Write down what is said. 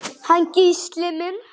Hann Gísli minn?